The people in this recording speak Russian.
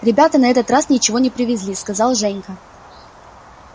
ребята на этот раз ничего не привезли сказал женька